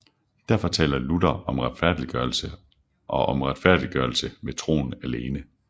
Derfor taler Luther om retfærdiggørelse og om retfærdiggørelse ved troen alene